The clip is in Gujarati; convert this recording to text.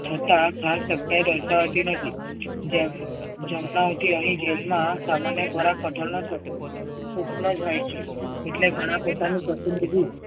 છતાં ખાસ આવતી નથી. જમવા આવતી અહી jail માં ખોરાક સૂક્ષ્મ જ હોય છે. એટલે ઘણા પોતાના પ્રતિનિધિ